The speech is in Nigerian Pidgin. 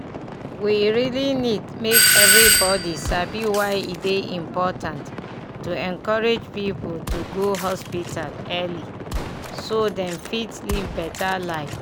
we really need make everybody sabi why e dey important to encourage people to go hospital early so dem fit live better life.